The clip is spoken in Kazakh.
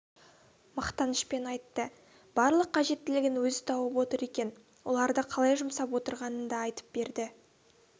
мақтанышпен айтты барлық қажеттілігін өзі тауып отыр екен оларды қалай жұмсап отырғанын да айтып берді